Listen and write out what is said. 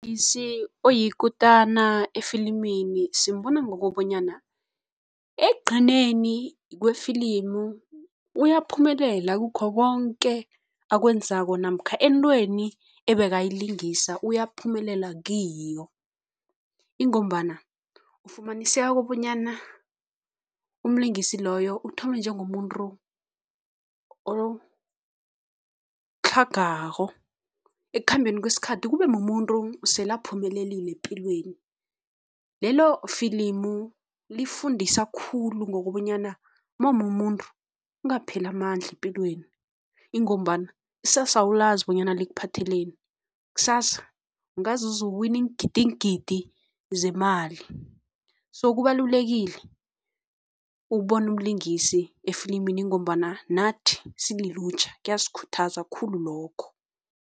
Oyikutana efilimini simbona ngokobanyana ekugcineni kwefilimu uyaphumelela kukho konke akwenzako namkha entweni ebekayilingisa, uyaphumelela kiyo ingombana ufumaniseka kobanyana umlingisi loyo uthome njengomuntu otlhagako, ekukhambeni kwesikhathi kubemumuntu sele aphumelelile epilweni. Lelo filimu lifundisa khulu ngokobanyana mawumumuntu ungapheli amandla epilweni ingombana ikusasa awulazi bonyana likuphatheleni. Kusasa ungaze uzuwine iingidigidi zemali so kubalulekile ukubona umlingisi efilimini ngombana nathi sililutjha kuyasikhuthaza khulu lokho.